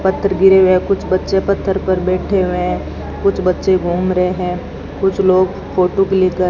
पत्थर गिरे हुए हैं कुछ बच्चे पत्थर पर बैठे हुए हैं कुछ बच्चे घूम रहे हैं कुछ लोग फोटो क्लिक क --